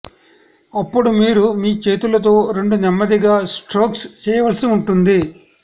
అప్పుడు మీరు మీ చేతులతో రెండు నెమ్మదిగా స్ట్రోక్స్ చేయవలసి ఉంటుంది